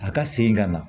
A ka segin ka na